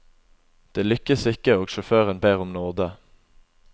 Det lykkes ikke, og sjåføren ber om nåde.